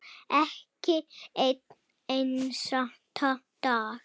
Ekki einn einasta dag.